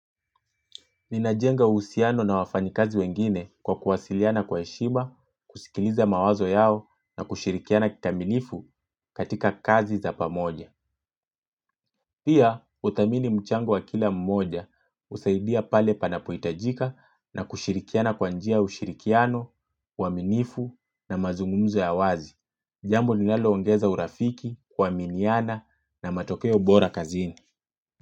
Ninajenga uhusiano na wafanyikazi wengine kwa kuwasiliana kwa heshima, kusikiliza mawazo yao na kushirikiana kikamilifu katika kazi za pamoja. Pia huthamini mchango wa kila mmoja kusaidia pale panapohitajika na kushirikiana kwa njia ushirikiano, uaminifu na mazungumzo ya wazi. Jambo nilaloongeza urafiki, kuaminiana na matokeo bora kazini.